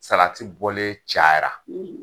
Salati bɔlen cayara.